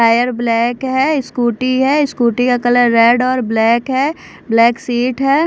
Tyre black है scooty है scooty का कलर रेड और ब्लैक है ब्लैक सीट है।